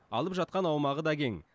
алып жатқан аумағы да кең